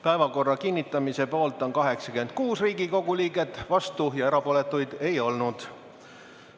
Päevakorra kinnitamise poolt on 86 Riigikogu liiget, vastuolijaid ja erapooletuid ei olnud.